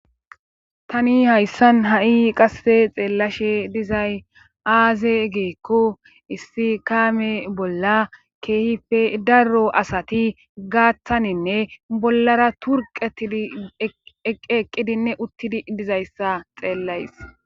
Tani hayssan ha'i qasse xeellashe dizay aaze geekko issi kaame bolla keehife darro asati gaaththaninne bollara turqeti eq eqqidinne uttidi dizayssa xeellays.